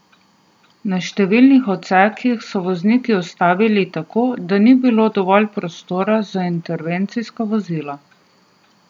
Na številnih odsekih so vozniki ustavili tako, da ni bilo dovolj prostora za intervencijska vozila.